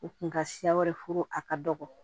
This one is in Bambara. U kun ka siya wɛrɛ furu a ka dɔgɔ